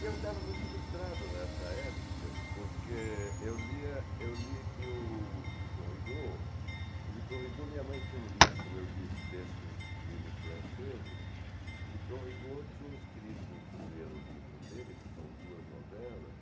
Eu estava muito frustrado nessa época, porque eu lia eu lia que o Victor Rigaud, o Victor Rigaud, minha mãe tinha um livro, como eu disse, desses livros franceses, o Victor Rigaud tinha escrito o primeiro livro dele, que são duas novelas,